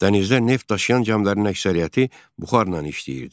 Dənizdə neft daşıyan gəmilərin əksəriyyəti buxarla işləyirdi.